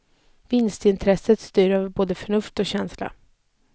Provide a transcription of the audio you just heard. Vinstintresset styr över både förnuft och känsla.